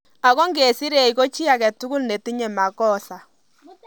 Ago nge sireech ko chi age tugul ne tinye makosa